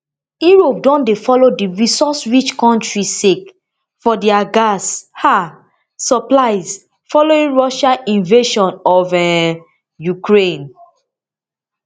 europe don dey follow di resource rich kontri sake of dia gas um supplies following russia invasion of um ukraine